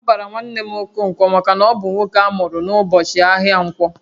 A bara nwanne m Okonkwo maka na ọ bụ nwoke amuru n'ụbọchị ahịa Ǹkwọ